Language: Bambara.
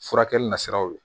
Furakɛli nasiraw ye